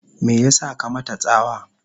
me yasa ka mata tsawa?